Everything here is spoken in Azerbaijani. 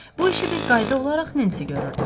Bu işi bir qayda olaraq Nensi görürdü.